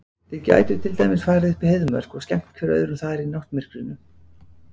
Þið gætuð til dæmis farið upp í Heiðmörk og skemmt hver öðrum þar í náttmyrkrinu.